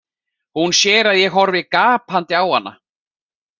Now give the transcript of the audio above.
Hún sér að ég horfi gapandi á hana.